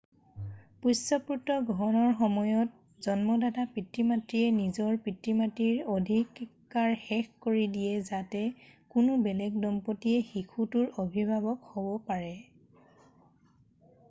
পোষ্যপুত্ৰ গ্ৰহণৰ সময়ত জন্মদাতা পিতৃ-মাতৃয়ে নিজৰ পিতৃ মাতৃৰ অধিকাৰ শেষ কৰি দিয়ে যাতে কোনো বেলেগ দম্পতীয়ে শিশুটোৰ অভিভাৱক হ'ব পাৰে